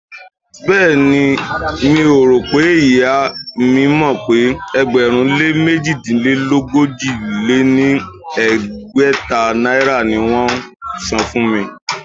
Béèni, mi ò rò pé ìyá mi mọ̀ pé ẹgbẹ̀rún-lé -mèjìdínogójì-lé-ní-ẹgbẹ́ta náírà ni wón ń san fún mi.